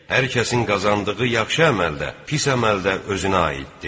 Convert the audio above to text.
Hər kəsin qazandığı yaxşı əməl də, pis əməl də özünə aididr.